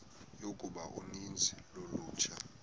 yokuba uninzi lolutsha